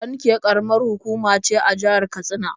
Kankia ƙaramar hukuma ce a jihar Katsina.